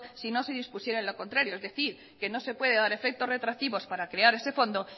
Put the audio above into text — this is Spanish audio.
sino se dispusiera lo contrario es decir que no se puede dar efectos retroactivos para crear ese fondo